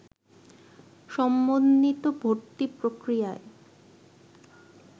সমন্বিত ভর্তি পক্রিয়ার